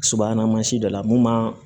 Subahana mansin dɔ la mun b'an